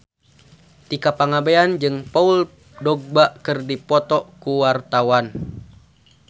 Tika Pangabean jeung Paul Dogba keur dipoto ku wartawan